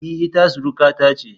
E, ita surukata ce.